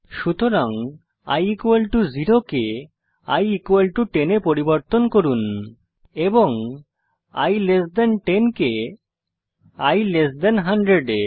সুতরাং i 0 কে i 10 এ পরিবর্তন করুন এবং i 10 কে i 100 এ